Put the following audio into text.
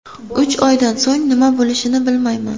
Uch oydan so‘ng nima bo‘lishini bilmayman.